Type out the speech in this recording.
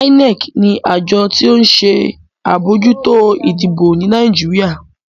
INEC ní Àjọ ti o nṣe abojuto ìdìbò ní Nàìjíríà.